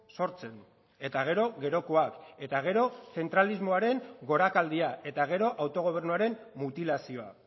sortzen eta gero gerokoak eta gero zentralismoaren gorakaldia eta gero autogobernuaren mutilazioa